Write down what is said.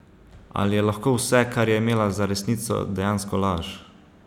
Ali je lahko vse, kar je imela za resnico, dejansko laž?